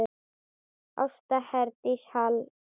Ásta Herdís Hall.